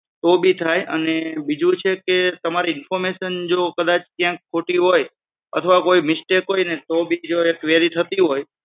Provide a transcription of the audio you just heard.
તો ભી થાય અને બીજું છે કે તમારી information જો કદાચ ક્યાંક ખોટી હોય અથવા કોઈ mistake હોયને તો બીજીવાર query થતી હોય.